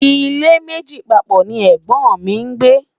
ilé méjì papọ̀ ní ègbón mí ngbe